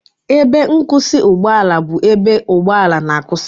Ebe nkwụsị ụgbọ ala bụ ebe ụgbọ ala na-akwụsị